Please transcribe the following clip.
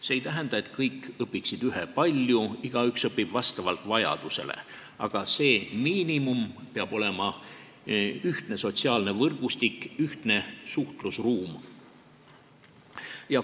See ei tähenda, et kõik õpiksid ühepalju, igaüks õpib vastavalt vajadusele, aga miinimum peab olema ühtne sotsiaalne võrgustik, ühtne suhtlusruum.